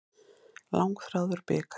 Langþráður bikar í hús